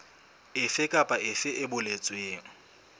efe kapa efe e boletsweng